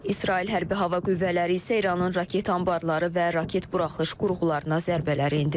İsrail hərbi hava qüvvələri isə İranın raket anbarları və raket buraxılış qurğularına zərbələr endirib.